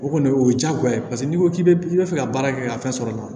O kɔni o ye jagoya ye paseke n' ko k'i be i be fɛ ka baara kɛ ka fɛn sɔrɔ o la